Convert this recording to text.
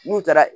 N'u taara